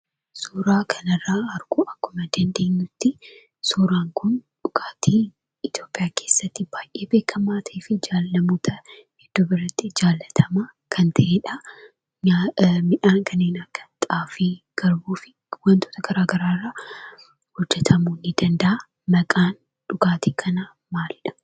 Suuraa kana irraa arguu akkuma dandeenyuttii suuraan kun dhugaatii Itiyoophiyaa keesatti baay'ee beekamaa ta'eefi namoota hedduu biratti jaallatamaa kan ta'edha. Midhaan kanneen akka xaafii garbuu fi wantoota garaa garaa irraa hojjetamuu ni danda'a. Maqaan dhugaatii kanaa maali?